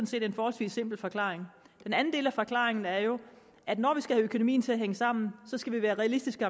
set en forholdsvis simpel forklaring den anden del af forklaringen er jo at når vi skal have økonomien til at hænge sammen skal vi være realistiske